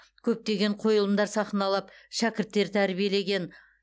көптеген қойылымдар сахналап шәкірттер тәрбиелеген